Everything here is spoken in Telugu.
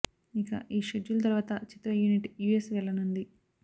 ఇక ఈ షెడ్యూల్ తరువాత చిత్ర యూనిట్ యు ఎస్ వెళ్లనుంది